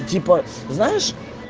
типа знаешь